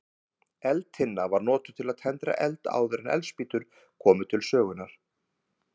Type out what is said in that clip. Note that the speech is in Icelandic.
Eldtinna var notuð til að tendra eld áður en eldspýtur komu til sögunnar.